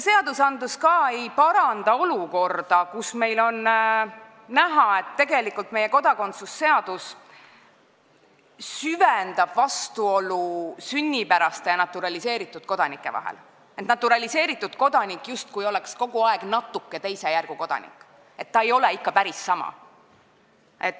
Seaduseelnõu ei paranda ka seda olukorda, kus me näeme, et meie kodakondsuse seadus tegelikult süvendab vastuolu sünnipäraste ja naturaliseeritud kodanike vahel: naturaliseeritud kodanik oleks justkui kogu aeg natuke teise järgu kodanik, ta ei ole ikka päris sama.